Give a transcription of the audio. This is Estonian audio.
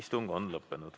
Istung on lõppenud.